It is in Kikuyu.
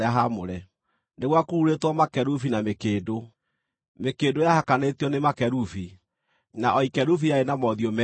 nĩ gwakururĩtwo makerubi na mĩkĩndũ. Mĩkĩndũ yahakanĩtio nĩ makerubi; na o ikerubi rĩarĩ na mothiũ meerĩ: